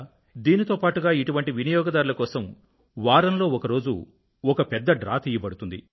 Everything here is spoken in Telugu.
దీనితో పాటుగా ఇటువంటి వినియోగదారుల కోసం వారంలో ఒకరోజు ఒక పెద్ద డ్రా తీయబడుతుంది